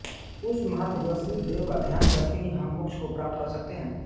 उस महातेजस्वी देव का ध्यान करके ही हम मोक्ष को प्राप्त कर सकते हैं